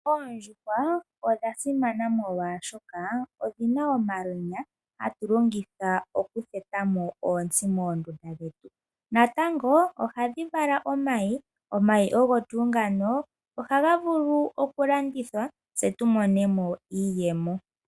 Oondjuhwa odha simana molwashoka odhina omalwenya hatu longitha okutheta mo ontsi moondunda dhetu natango ohadhi vala omayi , omayi ogo tuu ngano ohaga vulu okulandithwa tse tu mone mo iiyemo.